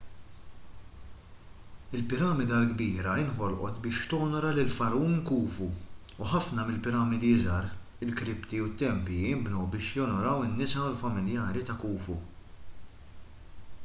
il-piramida l-kbira nħolqot biex tonora lill-fargħun khufu u ħafna mill-piramidi iżgħar l-kripti u t-tempji nbnew biex jonoraw lin-nisa u lill-familjari ta' khufu